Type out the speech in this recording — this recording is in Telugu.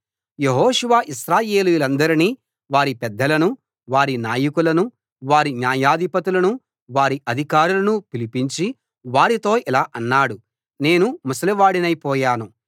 యెహోషువ ఇశ్రాయేలీయులందరినీ వారి పెద్దలనూ వారి నాయకులనూ వారి న్యాయాధిపతులనూ వారి అధికారులనూ పిలిపించి వారితో ఇలా అన్నాడు నేను ముసలివాడినైపోయాను